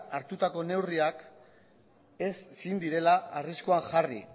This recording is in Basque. hartutako neurriak ezin direla arriskuan jarri